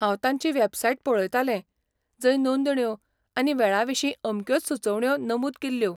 हांव तांची वेबसाइट पळयतालें, जंय नोंदण्यो, आनी वेळाविशीं अमक्योच सुचोवण्यो नमुद केल्ल्यो.